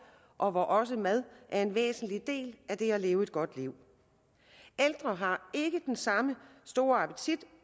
og hvor også mad er en væsentlig del af det at leve et godt liv ældre har ikke den samme store appetit